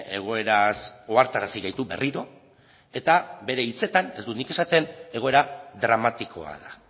egoeraz ohartarazi gaitu berriro eta bere hitzetan ez dut nik esaten egoera dramatikoa da